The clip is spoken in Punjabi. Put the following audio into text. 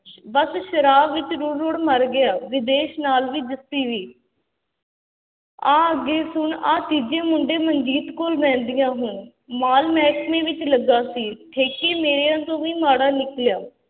ਬਸ ਸ਼ਰਾਬ ਵਿੱਚ ਰੁੜ ਰੁੜ ਮਰ ਗਿਆ, ਵਿਦੇਸ਼ ਨਾਲ ਵੀ ਜੱਸੀ ਵੀ ਆਹ ਅੱਗੇ ਸੁਣ ਆਹ ਤੀਜੇ ਮੁੰਡੇ ਮਨਜੀਤ ਕੋਲ ਰਹਿੰਦੀ ਆ ਹੁਣ, ਮਾਲ ਮਹਿਕਮੇ ਵਿੱਚ ਲੱਗਾ ਸੀ, ਠੇਕੇ ਮੇਰਿਆਂ ਤੋਂ ਵੀ ਮਾੜਾ ਨਿਕਲਿਆ।